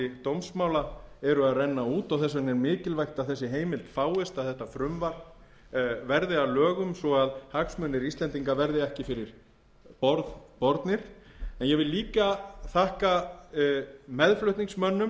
dómsmála eru að renna út og þess vegna er mikilvægt að þessi heimild fáist að þetta verði að lögum svo að hagsmunir íslendinga verði ekki fyrir borð bornir ég vil líka þakka meðflutningsmönnum